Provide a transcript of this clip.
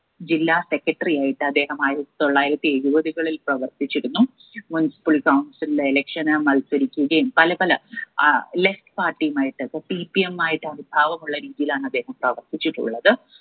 ജില്ലാ secretary ആയിട്ട് അദ്ദേഹം ആയിരത്തി തൊള്ളായിരത്തി എഴുപതുകളിൽ പ്രവർത്തിച്ചിരുന്നു municipal council ന്റെ election മത്സരിക്കുകയും പല പല ഏർ left party യുമായിട്ട് അപ്പോ CPM ആയിട്ടാണ് ഭാവമുള്ള രീതിയിലാണ് അദ്ദേഹം പ്രവർത്തിച്ചിട്ടുള്ളത്.